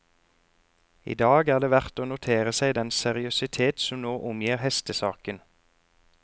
I dag er det verdt å notere seg den seriøsitet som nå omgir hestesaken.